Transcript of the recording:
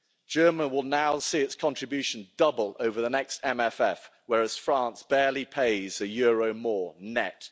Germany will now see its contribution double over the next MFF, whereas France barely pays a euro more, net.